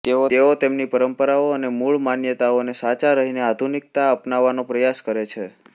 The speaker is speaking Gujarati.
તેઓ તેમની પરંપરાઓ અને મૂળ માન્યતાઓને સાચા રહીને આધુનિકતા અપનાવવાનો પ્રયાસ કરે છે